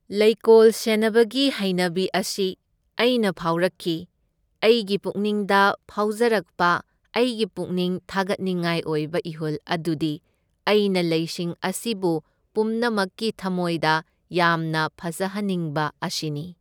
ꯂꯩꯀꯣꯜ ꯁꯦꯟꯅꯕꯒꯤ ꯍꯩꯅꯕꯤ ꯑꯁꯤ ꯑꯩꯅ ꯐꯥꯎꯔꯛꯈꯤ, ꯑꯩꯒꯤ ꯄꯨꯛꯅꯤꯡꯗ ꯐꯥꯎꯖꯔꯛꯄ ꯑꯩꯒꯤ ꯄꯨꯛꯅꯤꯡ ꯊꯥꯒꯠꯅꯤꯡꯉꯥꯏ ꯑꯣꯏꯕ ꯏꯍꯨꯜ ꯑꯗꯨꯗꯤ ꯑꯩꯅ ꯂꯩꯁꯤꯡ ꯑꯁꯤꯕꯨ ꯄꯨꯝꯅꯃꯛꯀꯤ ꯊꯝꯃꯣꯏꯗ ꯌꯥꯝꯅ ꯐꯖꯍꯟꯅꯤꯡꯕ ꯑꯁꯤꯅꯤ꯫